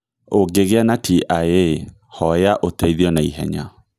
Ũngĩgĩa na TIA, hoya ũteithio na ihenya.